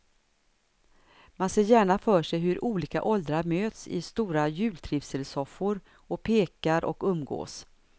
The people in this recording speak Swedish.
Man ser gärna för sig hur olika åldrar möts i stora jultrivselsoffor och pekar och umgås.